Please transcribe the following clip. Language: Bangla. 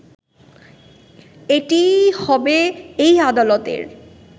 এটিই হবে এই আদালতের